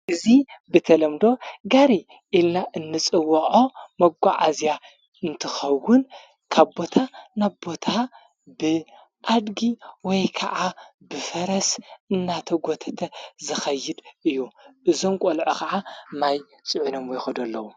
ጊዙ ብተለምዶ ጋሪ ኢልና እንጽውዖ መጎዓእዚያ እንትኸውን ካቦታ ናቦታ ብኣድጊ ወይ ከዓ ብፈረስ እናተ ጐተተ ዝኸይድ እዩ ዘንቈልዖ ኸዓ ማይ ጽዑነም ይኮዱ ኣለዉ::